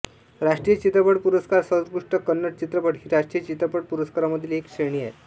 राष्ट्रीय चित्रपट पुरस्कार सर्वोत्कृष्ट कन्नड चित्रपट हि राष्ट्रीय चित्रपट पुरस्कारांमधील एक श्रेणी आहे